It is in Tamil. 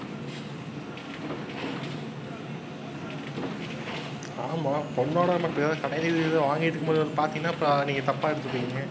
ஆமாம் பொண்ணோட எப்பவாவது கடைவீதியில் ஏதாவது வாங்கிட்டு இருக்கும்போது வந்து பார்த்தீங்கன்னா அப்புறம் நீங்க தப்பா எடுத்துப்பீங்க.